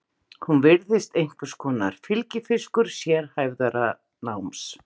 Hún virðist einhvers konar fylgifiskur sérhæfðara náms.